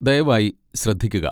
ദയവായി ശ്രദ്ധിക്കുക.